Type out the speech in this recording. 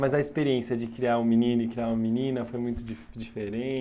Mas a experiência de criar um menino e criar uma menina foi muito di